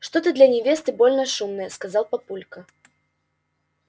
что-то ты для невесты больно шумная сказал папулька